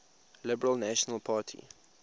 liberal national party